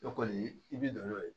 O kɔni i bi don n'o ye